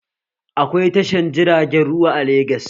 Akwai tashar jiragen ruwa a Legas